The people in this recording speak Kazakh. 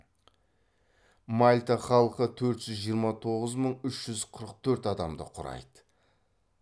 мальта халқы төрт жүз жиырма тоғыз мың үш жүз қырық төрт адамды құрайды